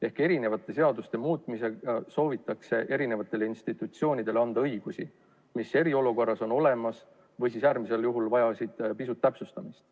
Ehk mõningate seaduste muutmise teel soovitakse eri institutsioonidele anda õigusi, mis eriolukorras on olemas või äärmisel juhul vajaksid pisut täpsustamist.